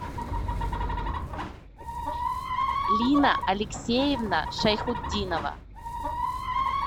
лина алексеевна шайхутдинова